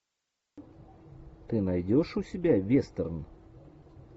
ты найдешь у себя вестерн